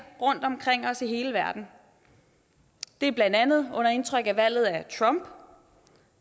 rundtomkring os i hele verden det er blandt andet under indtryk af valget af trump